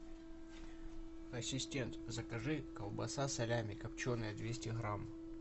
ассистент закажи колбаса салями копченая двести грамм